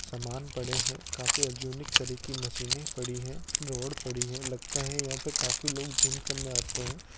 सामान पड़े हैं काफी यूनिक तरह की मशीनें पड़ी हैं रॉड पड़ी है लगता है यहां पे काफी लोग जिम करने आते हैं।